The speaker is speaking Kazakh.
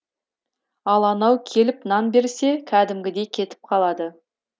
ал анау келіп нан берсе кәдімгідей кетіп қалады